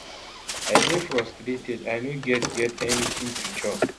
i dey fraustrated i no get get anytin to chop